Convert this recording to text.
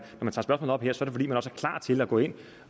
også er klar til at gå ind